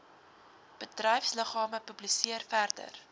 bedryfsliggame publiseer verder